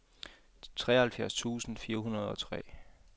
treoghalvfjerds tusind fire hundrede og tre